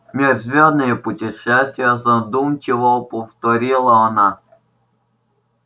межзвёздные путешествия задумчиво повторила она